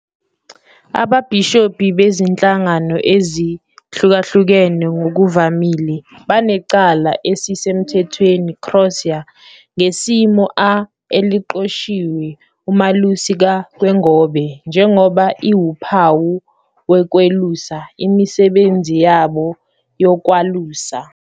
Ababhishobhi bezinhlangano ezihlukahlukene ngokuvamile banecala esisemthethweni crosier ngesimo a eliqoshiwe umalusi ka- kwengobe njengoba iwuphawu wokwelusa, imisebenzi yabo yokwalusa.